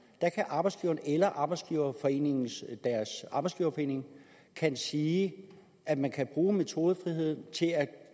at arbejdsgiveren eller arbejdsgiverforeningen arbejdsgiverforeningen kan sige at man kan bruge metodefriheden til at